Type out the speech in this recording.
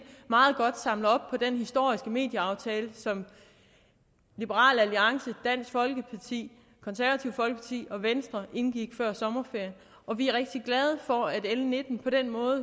meget godt samler op på den historiske medieaftale som liberal alliance dansk folkeparti og venstre indgik før sommerferien og vi er rigtig glade for at l nitten på den måde